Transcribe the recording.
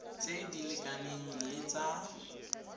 tse di lekanang le tsa